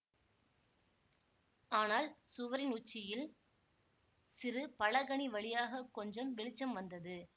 ஆனால் சுவரின் உச்சியில் சிறு பலகணி வழியாக கொஞ்சம் வெளிச்சம் வந்தது